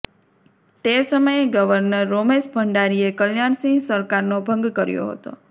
તે સમયે ગવર્નર રોમેશ ભંડારીએ કલ્યાણસિંહ સરકારનો ભંગ કર્યો હતો